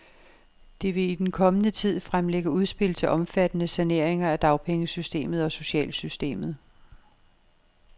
De vil i den kommende tid fremlægge udspil til omfattende saneringer af dagpengesystemet og socialsystemet.